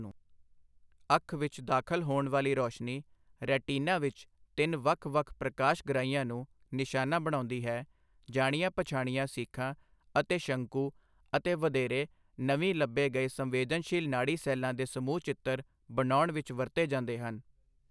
ਅੱਖ ਵਿੱਚ ਦਾਖਲ ਹੋਣ ਵਾਲੀ ਰੌਸ਼ਨੀ ਰੈਟੀਨਾ ਵਿੱਚ ਤਿੰਨ ਵੱਖ ਵੱਖ ਪ੍ਰਕਾਸ਼ ਗ੍ਰਾਹੀਆਂ ਨੂੰ ਨਿਸ਼ਾਨਾ ਬਣਾਉਂਦੀ ਹੈ, ਜਾਣੀਆਂ ਪਛਾਣੀਆਂ ਸੀਖਾਂ ਅਤੇ ਸ਼ੰਕੂ ਅਤੇ ਵਧੇਰੇ ਨਵੀਂ ਲੱਭੇ ਗਏ ਸੰਵੇਦਨਸ਼ੀਲ ਨਾੜੀ ਸੈੱਲਾਂ ਦੇ ਸਮੂਹ ਚਿੱਤਰ ਬਣਾਉਣ ਵਿੱਚ ਵਰਤੇ ਜਾਂਦੇ ਹਨ।